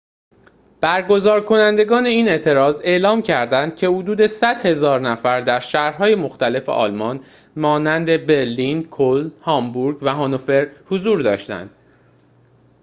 برگزارکنندگان این اعتراض اعلام کرددند که حدود ۱۰۰,۰۰۰ نفر در شهرهای مختلف آلمان مانند برلین کلن هامبورگ و هانوفر حضور داشتند